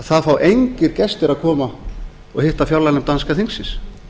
það fá engir gestir að koma og hitta fjárlaganefnd danska þingsins